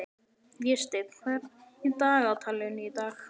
Vésteinn, hvað er í dagatalinu í dag?